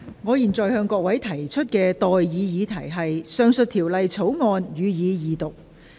我現在向各位提出的待議議題是：《貨物銷售條例草案》，予以二讀。